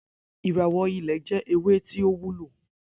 Iráwò ilè jè éwé tó wúló